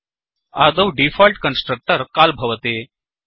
आदौ default constructor call भवति